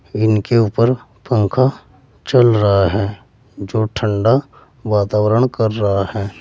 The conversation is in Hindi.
इनीके ऊपर पंखा चल रहा है जो ठंडा वातावरण कर रहा है।